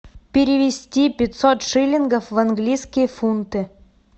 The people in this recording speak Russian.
перевести пятьсот шиллингов в английские фунты